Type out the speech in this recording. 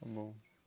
Está bom.